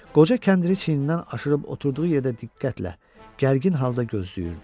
Qoca kəndiri çiynindən aşırıb oturduğu yerdə diqqətlə, gərgin halda gözləyirdi.